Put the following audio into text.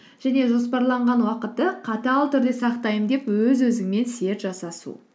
және жоспарланған уақытты қатал түрде сақтаймын деп өз өзіңмен серт жасасу